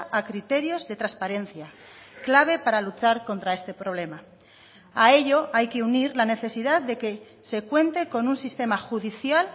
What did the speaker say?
a criterios de transparencia clave para luchar contra este problema a ello hay que unir la necesidad de que se cuente con un sistema judicial